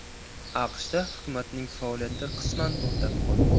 AQShda hukumatning faoliyati qisman to‘xtab qoldi.